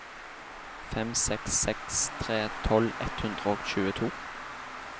fem seks seks tre tolv ett hundre og tjueto